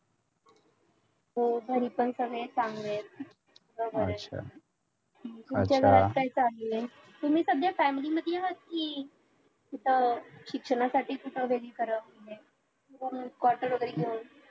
हो घरी पण सगळे चांगले आहेत तुम्ही सध्या family मध्ये आहात कि इथं शिक्षणासाठी कुठे वेगळी केली आहे quarter वैगेरे घेऊन